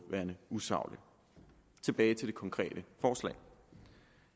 værende usaglig tilbage til det konkrete forslag